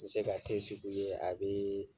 N be se ka kesu bu i ye a bee